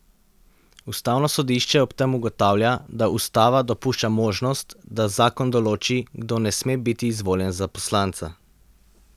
Ustavno sodišče ob tem ugotavlja, da ustava dopušča možnost, da zakon določi, kdo ne sme biti izvoljen za poslanca.